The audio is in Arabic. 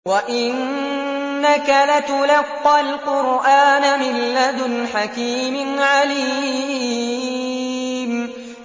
وَإِنَّكَ لَتُلَقَّى الْقُرْآنَ مِن لَّدُنْ حَكِيمٍ عَلِيمٍ